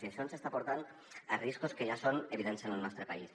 i això ens està portant a riscos que ja són evidents en el nostre país